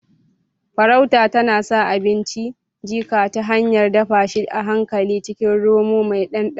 Farauta tana sa abinci jika ta hanyar dafa shi a hankali a cikin romo mai ɗanɗano